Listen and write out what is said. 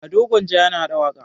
Ado Gwanja yana haɗa waƙa.